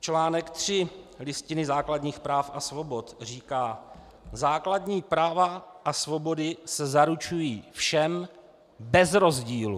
Článek 3 Listiny základních práv a svobod říká: Základní práva a svobody se zaručují všem bez rozdílu.